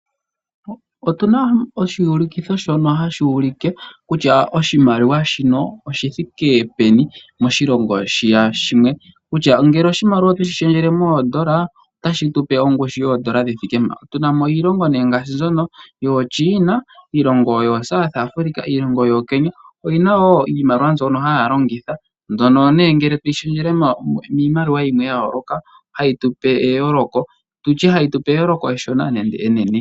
Otuna oshiyulikitho shono hashi ulike kutya oshimaliwa shino oshi thiike peni moshilongo shiya shimwe, kutya ngele oshimaliwa oto shi lundululile moondola otashi tu pe ongushu yoondola dhi thiike mpa. Tuna mo iilongo nee ngaashi mbyono yooChiina, iilongo yooSouth Africa, iilongo yooKenya, oyi na wo iimaliwa mbyono haya longitha. Mbyono nee ngele toyi lundululile miimaliwa yimwe ya yooloka tutye hayi tu pe eyooloko eshona nenge enene.